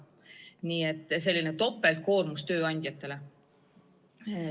Nii et see on selline topeltkoormus tööandjatele.